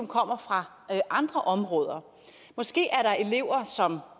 kommer fra andre områder måske er der elever som